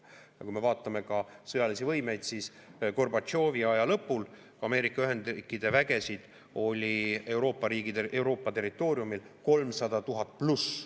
Aga kui me vaatame ka sõjalisi võimeid, siis Gorbatšovi aja lõpul Ameerika Ühendriikide vägesid oli Euroopa territooriumil 300 000+.